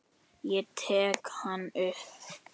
Ég tek hann upp.